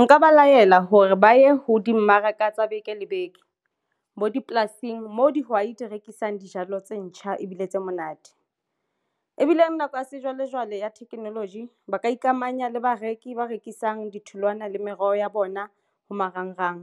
Nka ba laela hore ba ye ho dimmaraka tsa beke le beke bo dipolasing. Mo dihwai di rekisang dijalo tse ntjha ebile tse monate ebile nako ya sejwalejwale ya theknoloji ba ka ikamanya le bareki ba rekisang ditholwana le meroho ya bona ho marangrang